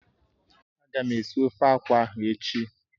Ága m esi ofe akwụ ahụ echi.